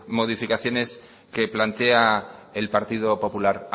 modificaciones que plantea el partido popular